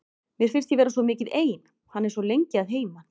Mér finnst ég vera svo mikið ein, hann er svo lengi að heiman.